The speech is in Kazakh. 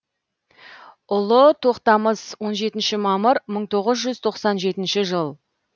ұлы тоқтамыс он жетінші мамыр мың тоғыз жүз тоқсан жетінші жыл